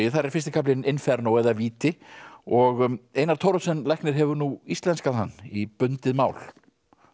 þar er fyrsti kaflinn Inferno eða víti og Einar Thoroddsen læknir hefur nú íslenskað hann í bundið mál